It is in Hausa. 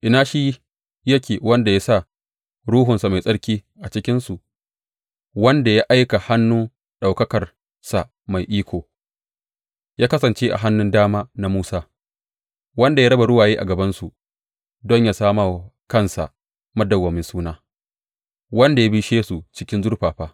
Ina shi yake wanda ya sa Ruhunsa Mai Tsarki a cikinsu, wanda ya aika hannu ɗaukakarsa mai iko ya kasance a hannun dama na Musa, wanda ya raba ruwaye a gabansu, don yă sami wa kansa madawwamin suna, wanda ya bishe su cikin zurfafa?